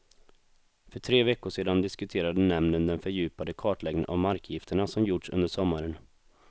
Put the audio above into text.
För tre veckor sedan diskuterade nämnden den fördjupade kartläggning av markgifterna som gjorts under sommaren.